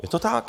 Je to tak.